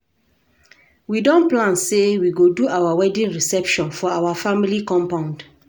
We don plan sey we go do our wedding reception for our family compound.